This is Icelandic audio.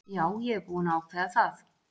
Já ég er búinn að ákveða það.